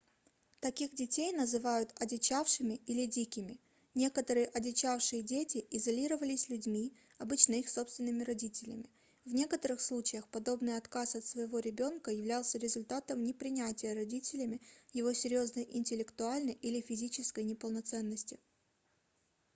таких детей называют одичавшими или дикими". некоторые одичавшие дети изолировались людьми обычно их собственными родителями. в некоторых случаях подобный отказ от своего ребёнка являлся результатом непринятия родителями его серьёзной интеллектуальной или физической неполноценности